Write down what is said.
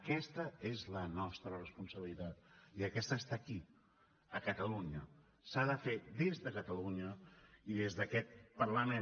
aquesta és la nostra responsabilitat i aquesta està aquí a catalunya s’ha de fer des de catalunya i des d’aquest parlament